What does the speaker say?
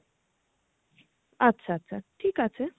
আচ্ছা আচ্ছা আচ্ছা ঠিক আছে।